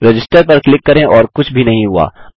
register पर click करें और कुछ भी नहीं हुआ